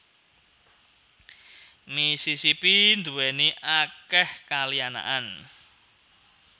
Mississippi nduwèni akèh kali anakan